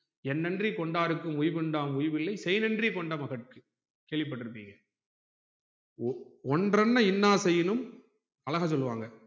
என்னென்றி கொண்டாருக்கு உய்கொண்டான் உய்வில்லை செய்நென்றி கொண்ட மகற்கு கேள்விப்பற்றி இருப்பிங்க ஒன்றன இன்னார் செயினும அழகா சொல்லுவாங்க